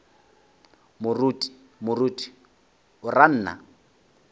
moruti moruti o ra nna